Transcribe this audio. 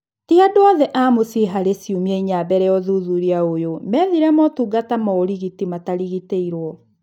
Ti andũ othe a mũciĩ harĩ ciumia inya mbele ya ũthuthuria ũyũ methire motungata ma ũrigiti matarigitirwo